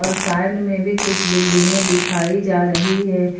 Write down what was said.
Side में भी कुछ बिल्डिंगें में दिखाई जा रही है।